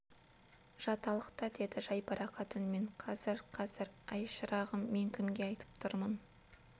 жаталық та деді жайбарақат үнмен қазір қазір әй шырағым мен кімге айтып тұрмын